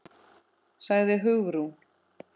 sagði Hugrún.